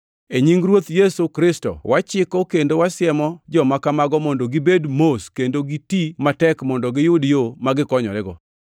E nying Ruoth Yesu Kristo, wachiko kendo wasiemo joma kamago mondo gibed mos kendo giti matek mondo giyud yo ma gikonyorego.